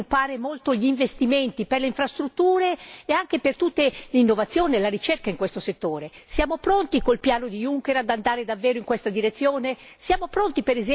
Connessa significa sviluppare molto gli investimenti per le infrastrutture e anche per tutte le innovazioni e la ricerca in questo settore. Siamo pronti, col piano di Juncker, ad andare davvero in questa direzione?